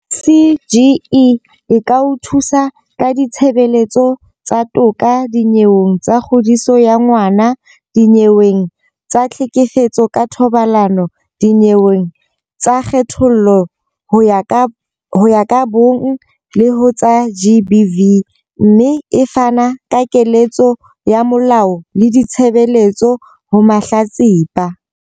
CGE e ka o thusa ka ditshebeletso tsa toka dinyeweng tsa kgodiso ya ngwana, dinyeweng tsa tlhekefetso ka thobalano, dinyeweng tsa kgethollo ho ya ka bong le ho tsa GBV, mme e fana ka keletso ya molao le ditshebeletso ho mahlatsipa.